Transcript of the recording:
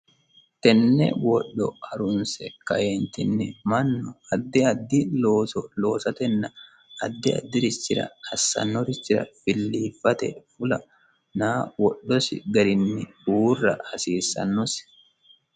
tenne wodho harunse kaeentinni mannu addi addi looso loosatenna addi addi'rischira assannorichira filliiffate fula naa wodhosi garinni uurra hasiissannosi